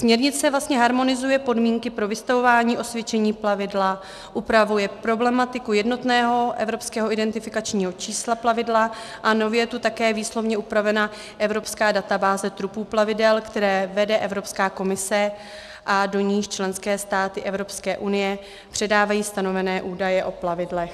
Směrnice vlastně harmonizuje podmínky pro vystavování osvědčení plavidla, upravuje problematiku jednotného evropského identifikačního čísla plavidla a nově je tu také výslovně upravena evropská databáze trupu plavidel, kterou vede Evropská komise a do níž členské státy Evropské unie předávají stanovené údaje o plavidlech.